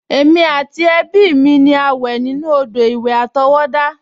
Èmi àti ẹbí mi ni a wẹ̀ nínú odò-ìwẹ̀ àtọwọ́dá